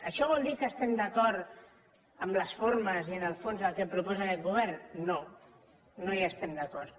això vol dir que estem d’acord amb les formes i amb el fons del que proposa aquest govern no no hi estem d’acord